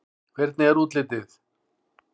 Hvernig er útlitið?